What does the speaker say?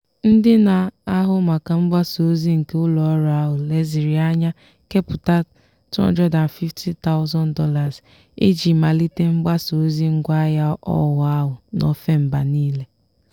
ndị na-ahụ maka mgbasa ozi nke ụlọọrụ ahụ leziri anya kepụta $250000 iji malite mgbasa ozi ngwaahịa ọhụụ ahụ n'ofe mba niile.